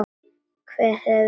Hver hefði trúað því.